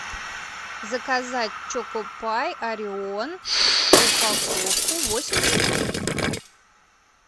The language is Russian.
заказать чокопай орион упаковку восемь штук